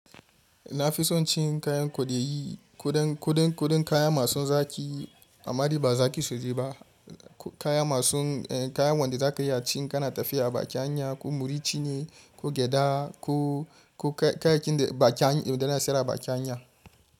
Na fi son cin kayan kodayi, koɗan, koɗan, kuɗin kaya masu zaƙi. Amma dai ba za ki sosai ba. Kaya masu, kaya wanda za ka iya cin in kana tafiya bakin hanya ko murcci ne ko gyada ko, ko kayakin da bakin hanya, da na siyar a bakin hanya.